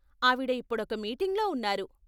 ఆవిడ ఇప్పుడొక మీటింగ్లో ఉన్నారు.